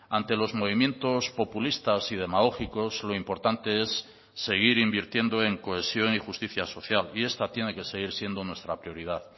ante los movimientos populistas y demagógicos lo importante es seguir invirtiendo en cohesión y justicia social y esta tiene que seguir siendo nuestra prioridad